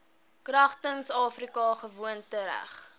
kragtens afrika gewoontereg